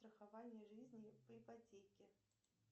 страхование жизни по ипотеке